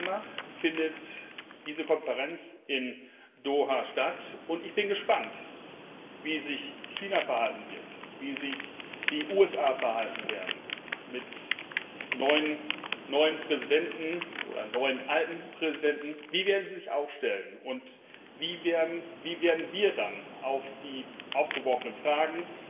7. Dezember findet diese Konferenz in Doha statt, und ich bin gespannt, wie sich China verhalten wird, wie sich die USA verhalten werden mit dem neuen, alten Präsidenten. Wie werden sie sich aufstellen? Wie werden wir dann auf die aufgeworfenen Fragen